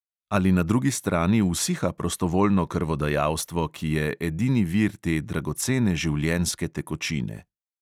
Ali na drugi strani usiha prostovoljno krvodajalstvo, ki je edini vir te dragocene življenjske tekočine?